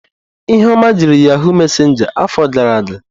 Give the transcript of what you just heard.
Ihuoma jiri yahụụ mesenja afọ gara aga.